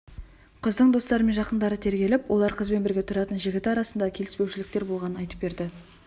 қыздың достары мен жақындары тергеліп олар қыз бен бірге тұратын жігіті арасында келіспеушіліктер болғандығын айтып берді